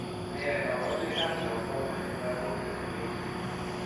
Nee kabarunoikab Glaucoma 3 eng lagok che mengech?